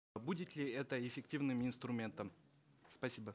будет ли это эффективным инструментом спасибо